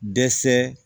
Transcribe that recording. Dɛsɛ